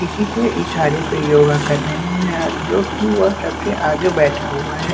इसी के इशारे पे योगा कर रहे हैं जो कि वह सबसे आगे बैठा हुआ है।